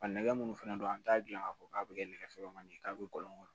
A nɛgɛ munnu fɛnɛ don an t'a gilan k'a fɔ k'a be kɛ nɛgɛ fɔlɔ kɔni ye k'a bɛ kɔlɔn kɔnɔ